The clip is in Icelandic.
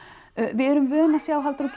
við erum vön að sjá Halldóru